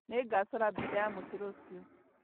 Nĩngacora mbica ya mũtĩ rũciũ